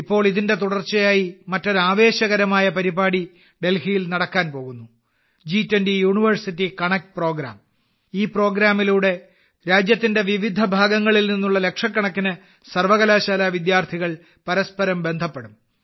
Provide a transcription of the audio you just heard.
ഇപ്പോൾ ഇതിന്റെ തുടർച്ചയായി മറ്റൊരു ആവേശകരമായ പരിപാടി ഡൽഹിയിൽ നടക്കാൻ പോകുന്നു G20 യൂണിവേഴ്സിറ്റി കണക്റ്റ് പ്രോഗ്രാമ് ഈ പരിപാടിയിലൂടെ രാജ്യത്തിന്റെ വിവിധ ഭാഗങ്ങളിൽ നിന്നുള്ള ലക്ഷക്കണക്കിന് സർവകലാശാല വിദ്യാർത്ഥികൾ പരസ്പരം ബന്ധപ്പെടും